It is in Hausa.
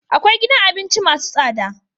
Kkwai gidan abinci masu tsada